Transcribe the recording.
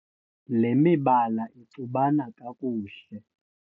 le mibala ixubana kakuhle